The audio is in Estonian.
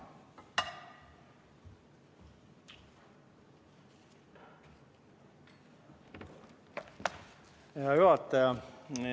Hea juhataja!